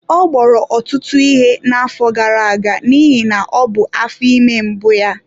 Ọ gboro ọtụtụ ihe na-afọ gara-aga n'ihi na ọ bụ afọ ime mbụ ya.